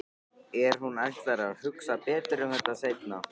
En hún ætlar að hugsa betur um þetta seinna.